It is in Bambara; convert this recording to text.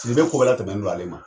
Nin bɛ ko bɛɛ latɛmɛni n'o ale ma.